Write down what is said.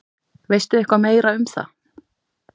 Veistu eitthvað meira um það?